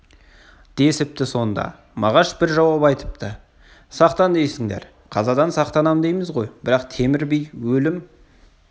десіпті сонда мағаш бір жауап айтыпты сақтан дейсіңдер қазадан сақтанам дейміз ғой бірақ темір би өлім